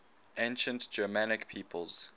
ancient germanic peoples